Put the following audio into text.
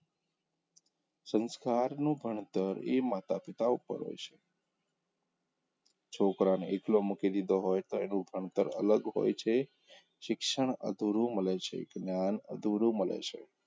સંસ્કારનું ભણતર એ માતા -પિતા ઉપર હોઈ છે છોકરાને એકલો મૂકી દીધો હોય તો એનું ભણતર અલગ હોય છે શિક્ષણ અધૂરું મળે છે, જ્ઞાન અધૂરું મળે છે.